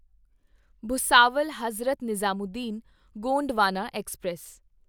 Bhusawal Hazrat Nizamuddin Gondwana express